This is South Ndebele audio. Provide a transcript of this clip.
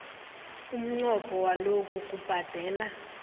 umnqopho walokhu kubhadela